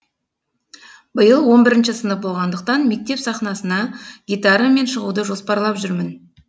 биыл он бірінші сынып болғандықтан мектеп сахнасына гитарамен шығуды жоспарлап жүрмін